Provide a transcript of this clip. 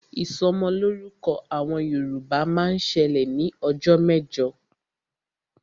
Ìsọmọlọ́rúkọ àwọn Yorùbá máa ń ṣẹlẹ̀ ní ọjọ́ mẹ́jọ